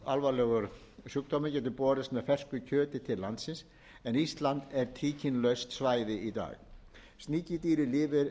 alvarlegur sjúkdómur geti borist með fersku kjöti til landsins en ísland er tríkínulaust svæði í dag sníkjudýrið lifir líka auðveldlega í